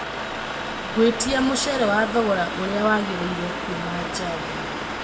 gwĩtia mũceere wa thogora ũrĩa wagĩrĩire kuuma java